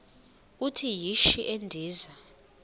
uthi yishi endiza